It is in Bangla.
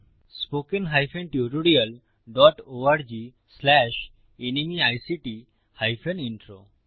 spoken hyphen tutorial dot org slash NMEICT hyphen intro